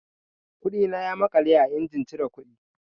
Kuɗina ya maƙale a injin cire kuɗi.